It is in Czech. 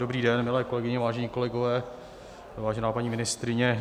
Dobrý den, milé kolegyně, vážení kolegové, vážená paní ministryně.